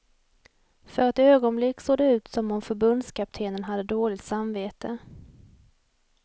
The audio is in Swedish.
För ett ögonblick såg det ut som om förbundskaptenen hade dåligt samvete.